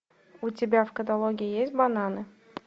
у тебя в каталоге есть бананы